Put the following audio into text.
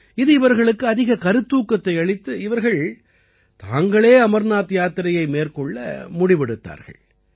இது இவர்களுக்கு அதிக கருத்தூக்கத்தை அளித்து இவர்கள் தாங்களே அமர்நாத் யாத்திரையை மேற்கொள்ள முடிவெடுத்தார்கள்